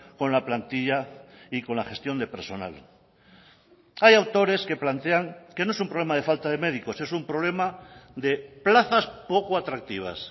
con la plantilla y con la gestión de personal hay autores que plantean que no es un problema de falta de médicos es un problema de plazas poco atractivas